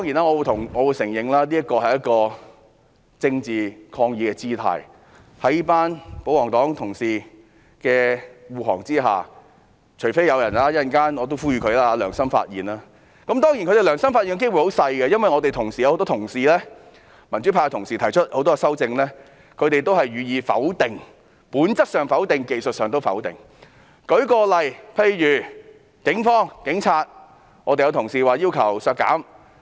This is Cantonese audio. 我承認這是一種政治抗議的姿態，因為保皇黨同事會護航，除非有人良心發現——我稍後也想作出呼籲——當然，他們良心發現的機率很低，因為很多民主派同事均提出了修正案，但保皇黨同事都是予以否定的，而且是不但從本質上否定，在技術上也否定。